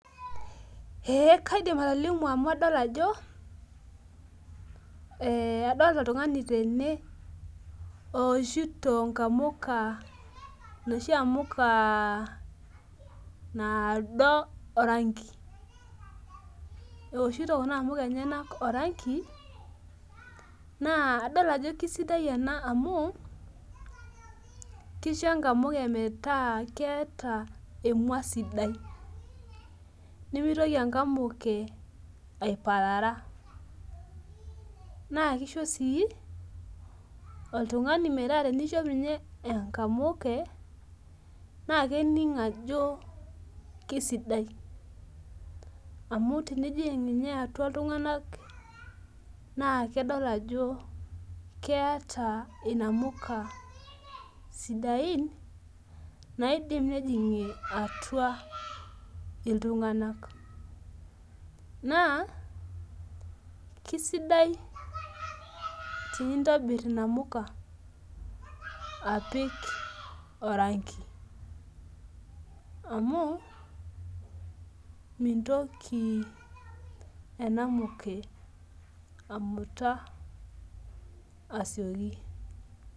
Ee kaidim atolimu amu adol ajo adolta oltungani tene ooshito namuka noshi amuka nado orangi eoshito kuna amuka orangi amu kisho enamuka metaa keeta emua sidai nimitoki enkamuke aipara na kisho si oltungani metaa tenishop enkamuke na kening ajo kesidai na tenijinga atua ltunganak nakedo ajo keeta inamuka sidain naidim nejingir atua ltunganak na kisidai tenintobir i amuka apik orangi amu mintoki enamuke amuta asioki.